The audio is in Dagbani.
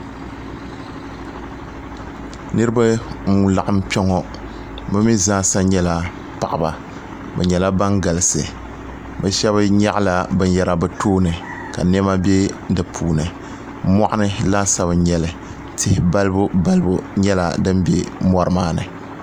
niriba n laɣim kpɛŋɔ be 'I zaasa nyɛla paɣ' ba be nyɛla ban galisi be shɛbi nyɛgila bɛni yɛra be tuuni ka nɛma bɛ di puuni moɣini laasabu n nyɛli tihi balibu balibu nyɛla di bɛ ni maani